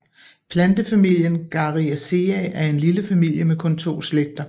Plantefamilien Garryaceae er en lille familie med kun to slægter